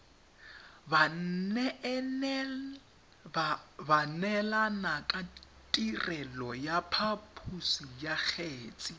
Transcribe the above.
baneelanakatirelo ya phaposo ya kgetse